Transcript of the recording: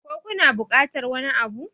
ko kuna bukatar wani Abu?